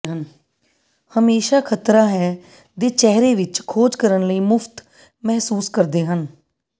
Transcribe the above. ਹਮੇਸ਼ਾ ਖ਼ਤਰਾ ਹੈ ਦੇ ਚਿਹਰੇ ਵਿੱਚ ਖੋਜ ਕਰਨ ਲਈ ਮੁਫ਼ਤ ਮਹਿਸੂਸ ਕਰਦੇ ਹਨ